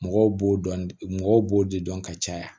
Mɔgɔw b'o dɔn mɔgɔw b'o de dɔn ka caya